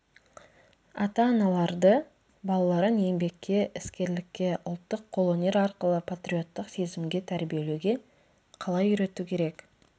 ата-аналарды балаларын еңбекке іскерлікке ұлттық қолөнер арқылы патриоттық сезімге тәрбиелеуге қалай үйрету керек